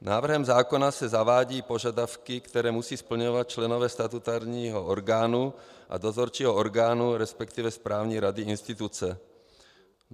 Návrhem zákona se zavádějí požadavky, které musí splňovat členové statutárního orgánu a dozorčího orgánu, respektive správní rady instituce.